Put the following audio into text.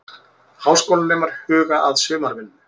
Háskólanemar huga að sumarvinnu